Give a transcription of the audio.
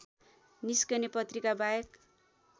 निस्कने पत्रिकाबाहेक